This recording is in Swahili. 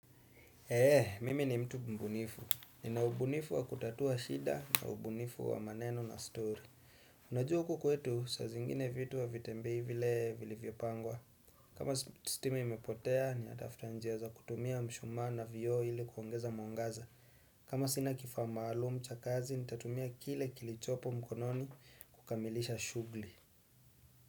Eee, mimi ni mtu mbunifu. Ninaubunifu wa kutatua shida na ubunifu wa maneno na story. Unajua huku kwetu sa zingine vitu havitembei vile vilivyo pangwa. Kama stima imepotea, ninatafuta njia za kutumia mshumaa na vio ili kuongeza mwangaza. Kama sina kifaa maalumu cha kazi, nitatumia kile kilichopo mkononi kukamilisha shuguli.